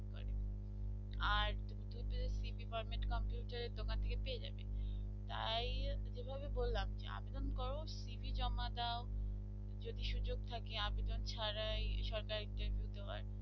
cv parliament computer এর দোকান থেকে পেয়ে যাবে তাই যেভাবে বললাম যে আবেদন করো cv জমা দাও যদি সুযোগ থাকে আবেদন ছাড়াই সরকারি তে দিতে আরকি